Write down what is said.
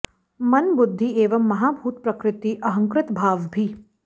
मन बुद्धि एवं महाभूत प्रकृति अहंकृत भाव भी